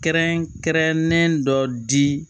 Kɛrɛnkɛrɛnnen dɔ di